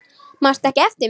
Manstu ekki eftir mér?